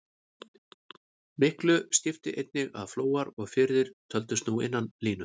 Miklu skipti einnig að flóar og firðir töldust nú innan línu.